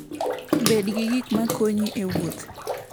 Bed gi gik ma konyi e wuoth.